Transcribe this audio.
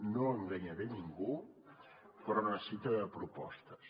no enganyaré ningú però necessita propostes